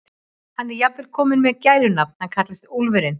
Hann er jafnvel kominn með gælunafn, hann kallast Úlfurinn.